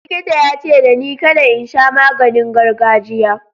Likita ya ce dani kada in sha maganin gargajiya.